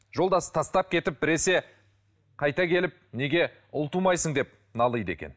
жолдасы тастап кетіп біресе қайта келіп неге ұл тумайсың деп налиды екен